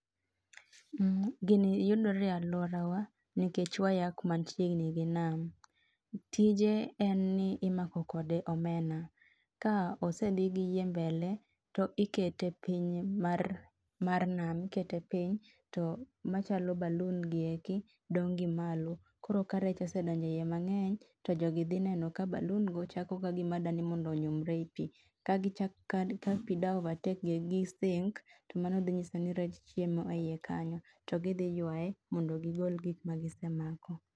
gini yudore e lworawa nikech wayaa kuma chiegni gi nam tije en ni imako kode omena kosedhi gi yie mbee tikete piny mar nam. ikete piny to machalo balloon giendi dong gimalo koro ka rech osedonje ie mangeny to jogi dhi neno ka balloon go chako kagima dani mondo onyumre ei pii ka pii dwa overtake go gi sink to mano dhi nyiso ni rech chiemo eiye kanyo to gi dhi ywaye mondo gigol gik magisemako